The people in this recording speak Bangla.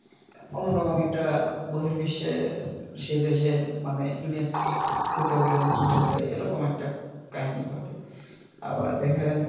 অন্যরকম একটা বহিঃ বিশ্বে সে দেশের মানে image ফুটে ওঠে নষ্ট হয়ে যায় এরকম একটা কাহিনী ঘটে আবার দেখা যায়,